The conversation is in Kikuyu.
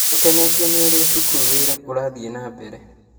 Nĩtkenetio nĩ ũrĩa cukuru witũ ũrathiĩ na mbere